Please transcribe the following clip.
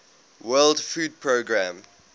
world food programme